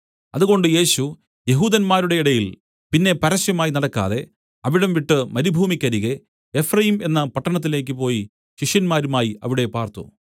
അതുകൊണ്ട് യേശു യെഹൂദന്മാരുടെ ഇടയിൽ പിന്നെ പരസ്യമായി നടക്കാതെ അവിടം വിട്ടു മരുഭൂമിക്കരികെ എഫ്രയീം എന്ന പട്ടണത്തിലേക്ക് പോയി ശിഷ്യന്മാരുമായി അവിടെ പാർത്തു